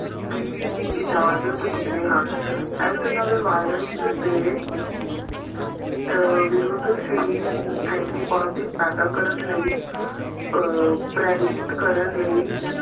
ਦੀ ਇਜਾਜਤ ਦਿੰਦੇ ਹਨ ਇਸ ਨਵੇਂ ਵਾਇਰਸ ਦੇ ਅਹ ਵਿਰੁੱਧ ਸਰੀਰ ਨੂੰ antibiotic ਪੈਦਾ ਕਰਨ ਲਈ ਅਹ ਪ੍ਰੇਰਿਤ ਕਰਨ ਲਈ